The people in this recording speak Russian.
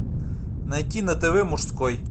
найти на тв мужской